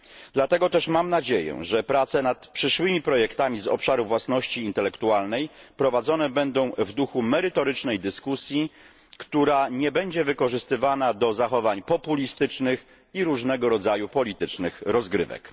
Dlatego też mam nadzieję, że prace nad przyszłymi projektami z obszaru własności intelektualnej prowadzone będą w duchu merytorycznej dyskusji, która nie będzie wykorzystywana do zachowań populistycznych i różnego rodzaju politycznych rozgrywek.